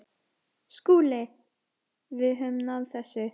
SKÚLI: Við náðum þessu.